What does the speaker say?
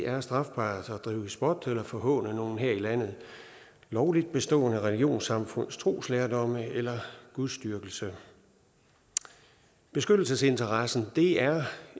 er strafbart at drive spot eller forhåne noget her i landet lovligt bestående religionssamfund troslærdom eller gudsdyrkelse beskyttelsesinteressen er